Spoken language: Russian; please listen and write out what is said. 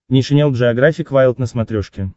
нейшенел джеографик вайлд на смотрешке